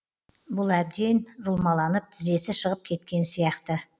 бұл әбден жұлмаланып тізесі шығып кеткен сияқты